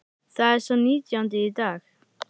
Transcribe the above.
Það er sá nítjándi í dag.